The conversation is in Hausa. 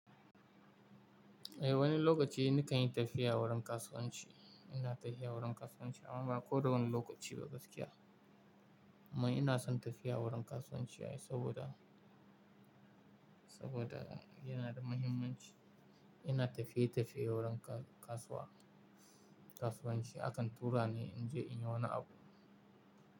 Eh, wani lokaci nikan yi tafiya wurin kasuwanci. Ina tafiya wurin kasuwanci, amma ba ko dawani lokaci ba gaskiya. Amma ina son tafiya wurin kasuwanci na saboda, saboda yana da muhimmanci. Ina tafiye-tafiye wurin kasuwa, kasuwanci. Akan tura ni in je inyi wani abu.